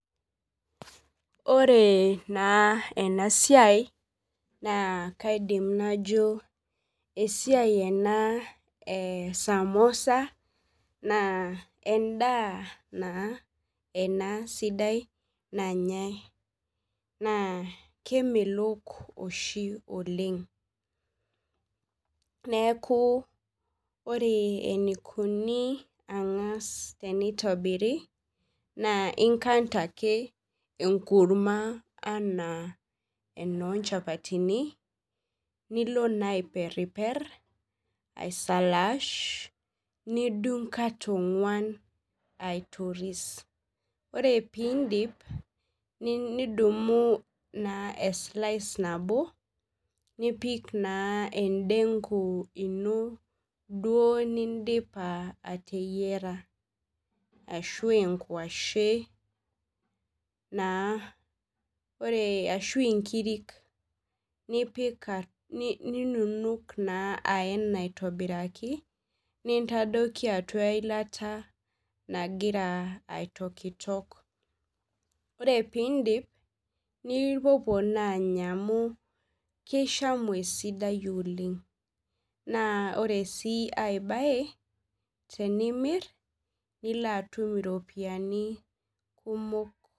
Ore naa esiai naa kaidim najo esiai ena e samosa naa endaa naa sidai ena sidai nanyai naa kemelok oshi oleng neeku ore eneikoni ena teneitorbirk naa inkanda ake enkurma enaa enoo nchapataini asalaash nitung kata ong'uan ore peeindip nidumu naa esilasha nano nipik naa endenku ino nindipa atareyiaa ashua enkuashe ashuu inkirik jinunuk aena aitobikraki nitafoiki eilata nagira aitokitok ore peeindip nipuouo naa anya amu keishamu esidai oleng ore sii piimir nilo atum iropiyiani kumok